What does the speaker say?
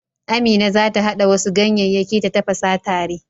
Amina za ta haɗa wasu ganyeyyaki ta tafasa tare.